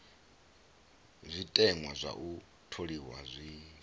zwiteṅwa zwa u tholiwa zwi